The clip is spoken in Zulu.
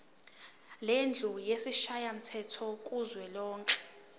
lendlu yesishayamthetho kuzwelonke